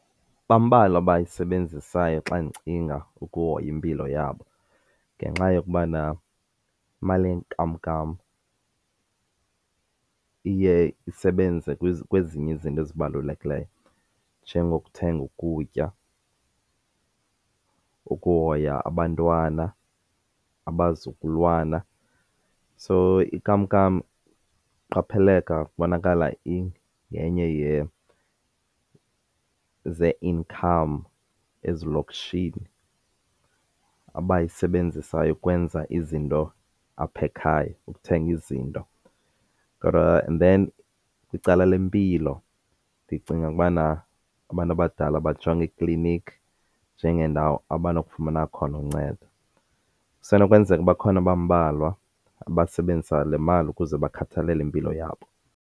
Bambalwa abayisebenzisayo xa ndicinga ukuhoya impilo yabo ngenxa yokubana imali yenkamnkam iye isebenze kwezinye izinto ezibalulekileyo, njengokuthenga ukutya, ukuhoya abantwana abazukulwana. So inkamnkam iqapheleka kubonakala iyenye zee-incomce ezilokishini abayisebenzisayo ukwenza izinto apha ekhaya ukuthenga izinto. Kodwa and then kwicala lempilo ndicinga ukubana abantu abadala bajonga iikliniki njengeendawo abanokufumana khona uncedo. Kusenokwenzeka bakhona abambalwa abasebenzisa le mali ukuze bakhathalele impilo yabo.